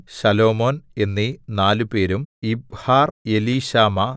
ശലോമോൻ എന്നീ നാലുപേരും യിബ്ഹാർ എലീശാമാ